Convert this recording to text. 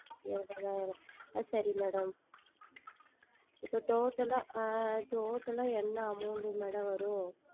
இருபதாயிரம் ஆஹ் சரி Madam இப்பொழுது Total ஆ ஆஹ் Total ஆ என்ன AmountMadam வரும்